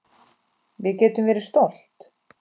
Við getum verið stolt.